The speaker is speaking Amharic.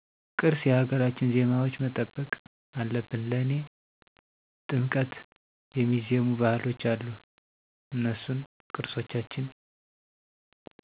ቅርስ የሀገራችን ባህል ዜማዎች መጠበቅ አለብን ለኔ ጥምቀት የሚዜሙ ባህሎች አሉ እነሱን ቅርሶቻችን